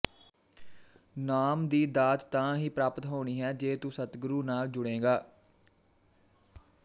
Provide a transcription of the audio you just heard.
ਨਾਮ ਦੀ ਦਾਤ ਤਾਂ ਹੀ ਪ੍ਰਾਪਤ ਹੋਣੀ ਹੈ ਜੇ ਤੂੰ ਸਤਿਗੁਰੂ ਨਾਲ ਜੁੜੇਗਾ